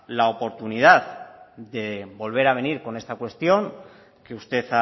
la oportunidad de volver a venir con esta cuestión que usted